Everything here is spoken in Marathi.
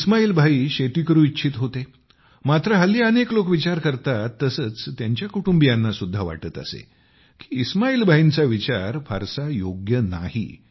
इस्माईल भाई शेती करू इच्छित होते मात्र हल्ली अनेक लोक विचार करतात तसेच त्यांच्या कुटुंबियांना सुद्धा वाटत असे की इस्माईल भाईंचा विचार फारसा योग्य नाही